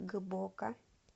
гбоко